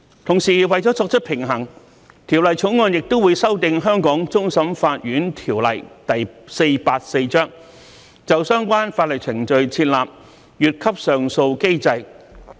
同時，為了作出平衡，《條例草案》亦會修訂《香港終審法院條例》，就相關法律程序設立"越級上訴機制"。